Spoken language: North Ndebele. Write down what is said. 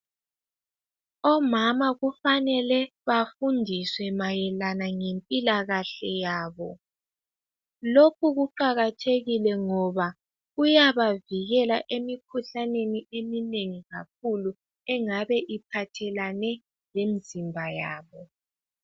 Omama kufanelwe bafundiswe mayelana ngempilakahle yabo. Lokhu kuqakathekile ngoba kuyabavikela emikhuhlaneni eminengi engabe iphathelane lemizimba yabo